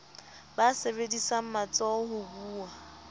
ba sebedisang matsoho ho buwa